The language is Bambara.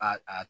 A